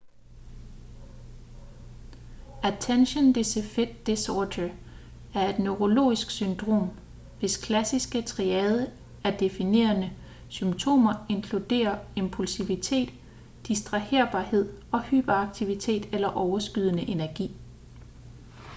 attention deficit disorder er et neurologisk syndrom hvis klassiske triade af definerende symptomer inkluderer impulsivitet distraherbarhed og hyperaktivitet eller overskydende energi